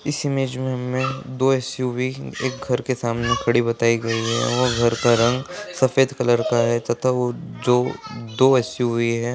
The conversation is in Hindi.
इस इमेज में हमें दो एस_यू_वी एक घर के सामने खड़ी हुई बताई गई है और घर का रंग सफेद कलर का है तथा जो दो एस_यू_वी है।